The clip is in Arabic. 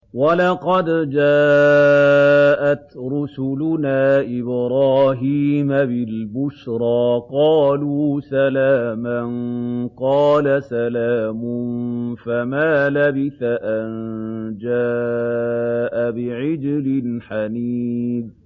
وَلَقَدْ جَاءَتْ رُسُلُنَا إِبْرَاهِيمَ بِالْبُشْرَىٰ قَالُوا سَلَامًا ۖ قَالَ سَلَامٌ ۖ فَمَا لَبِثَ أَن جَاءَ بِعِجْلٍ حَنِيذٍ